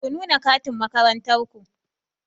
Ku nuna katin makarantar ku!